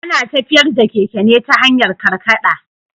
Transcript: Ana tafiyar da keke ne ta hanyar karkaɗa.